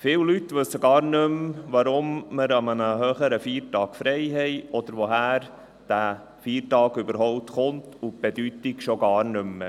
Viele Leute wissen gar nicht mehr, weshalb wir an einem höheren Feiertag frei haben oder woher dieser Feiertag überhaupt kommt, und seine Bedeutung kennen sie schon gar nicht mehr.